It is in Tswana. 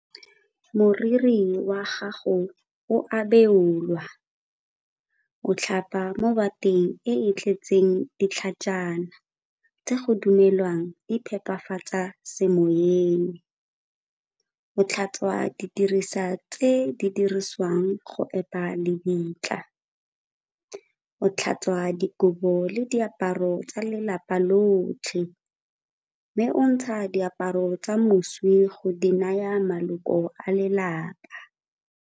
Moriri wa gago o a beolwa, o tlhapa mo bateng e e tletseng ditlhajana tse go dumelwang di phepafatsa semoyeng. O tlhatswa didirisa tse di dirisiwang go epa lebitla. O tlhatswa dikobo le diaparo tsa lelapa lotlhe, mme o ntsha diaparo tsa moswi go di naya maloko a lelapa.